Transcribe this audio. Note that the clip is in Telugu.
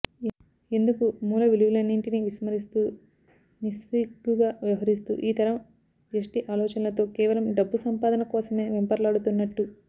ఎందుకు మూల విలువలన్నింటినీ విస్మరిస్తూ నిస్సిగ్గుగా వ్యవహరిస్తూ ఈ తరం వ్యష్టి ఆలోచనలతో కేవలం డబ్బు సంపాదనకోసమే వెంపర్లాడుతున్నట్టు